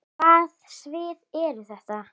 Hvaða svið eru þetta?